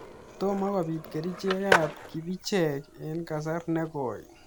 Tomaa kopiit kericheek ap kipicheek eng kasar negoi